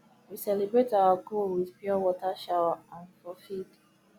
we celebrate our goal with pure water shower um for field